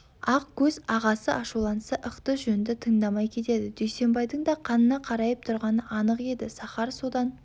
ақ көз ағасы ашуланса ықты-жөнді тыңдамай кетеді дүйсенбайдың да қанына қарайып тұрғаны анық еді сахар содан